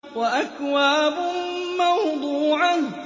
وَأَكْوَابٌ مَّوْضُوعَةٌ